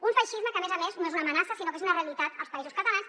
un feixisme que a més a més no és una amenaça sinó que és una realitat als països catalans